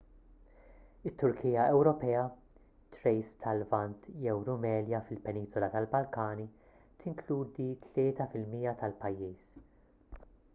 it-turkija ewropea thrace tal-lvant jew rumelia fil-peniżola tal-balkani tinkludi 3 % tal-pajjiż